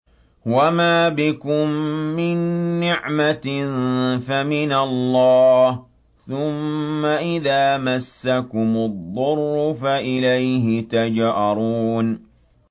وَمَا بِكُم مِّن نِّعْمَةٍ فَمِنَ اللَّهِ ۖ ثُمَّ إِذَا مَسَّكُمُ الضُّرُّ فَإِلَيْهِ تَجْأَرُونَ